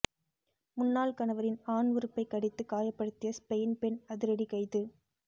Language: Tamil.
முன்னாள் கணவரின் ஆண் உறுப்பை கடித்து காயப்படுத்திய ஸ்பெயின் பெண் அதிரடி கைது